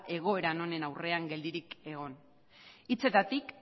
egoera honen aurrean geldirik egon hitzetatik